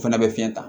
O fana bɛ fiɲɛ ta